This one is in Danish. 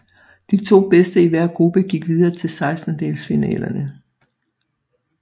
De to bedste i hver gruppe gik videre til sekstendelsfinalerne